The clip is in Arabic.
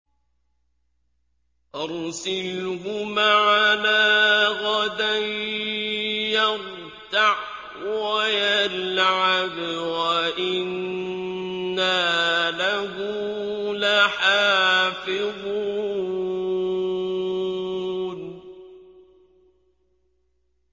أَرْسِلْهُ مَعَنَا غَدًا يَرْتَعْ وَيَلْعَبْ وَإِنَّا لَهُ لَحَافِظُونَ